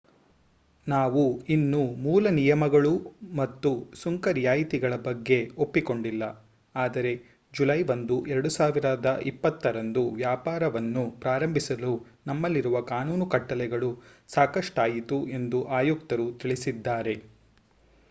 ನಾವು ಇನ್ನೂ ಮೂಲ ನಿಯಮಗಳು ಮತ್ತು ಸುಂಕ ರಿಯಾಯಿತಿಗಳ ಬಗ್ಗೆ ಒಪ್ಪಿಕೊಂಡಿಲ್ಲ ಆದರೆ ಜುಲೈ 1 2020 ರಂದು ವ್ಯಾಪಾರವನ್ನು ಪ್ರಾರಂಭಿಸಲು ನಮ್ಮಲ್ಲಿರುವ ಕಾನೂನು ಕಟ್ಟಲೆಗಳು ಸಾಕಷ್ಟಾಯಿತು ಎಂದು ಆಯುಕ್ತರು ತಿಳಿಸಿದ್ದಾರೆ